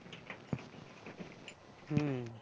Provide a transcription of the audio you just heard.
হম